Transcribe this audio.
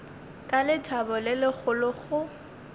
ka lethabo le legolo go